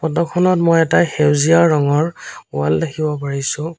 ফটোখনত মই এটা সেউজীয়া ৰঙৰ ৱাল দেখিব পাৰিছোঁ।